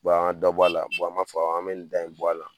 an ka dɔ bɔ a la an b'a fɔ an bɛ nin da in bɔ a la